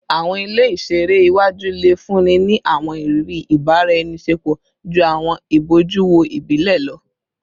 Awọn ile iṣere iwaju le funni ni awọn iriri ibaraenisepo ju awọn ibojuwo ibile lọ